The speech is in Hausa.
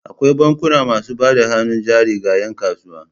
Akwai bankuna masu bada hannun jari ga 'yankasuwa.